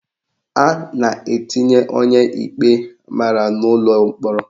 A na-etinye onye ikpe mara n'ụlọ mkpọrọ.